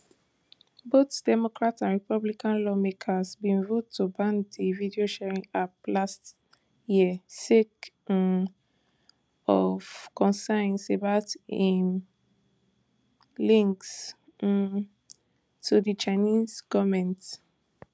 both democrat and republican lawmakers bin vote to ban di videosharing app last year sake um of concerns about im links um to di chinese goment